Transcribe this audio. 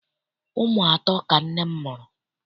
Ụmụ atọ ka nne m mụrụ.